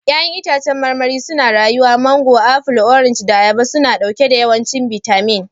Ya'yan itãcen marmari suna rayuwa mango, apple, orange, da ayaba suna ɗauke da yawancin bitamin.